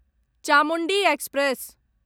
Chamundi express